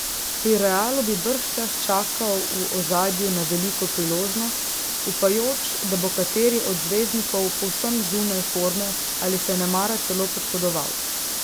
Pri Realu bi bržčas čakal v ozadju na veliko priložnost, upajoč, da bo kateri od zvezdnikov povsem zunaj forme ali se nemara celo poškodoval.